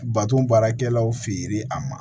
Baton baarakɛlaw fe ye a ma